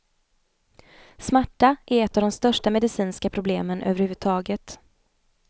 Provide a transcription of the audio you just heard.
Smärta är ett av de största medicinska problemen överhuvudtaget.